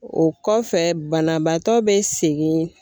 O kɔfɛ banabaatɔ be segin